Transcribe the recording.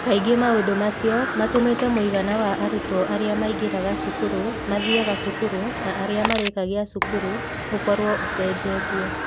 Kaingĩ maũndũ macio matũmĩte mũigana wa arutwo arĩa maigĩraga cukuru, mathiaga cukuru, na arĩa marĩkagia cukuru ũkorũo ũcenjetie.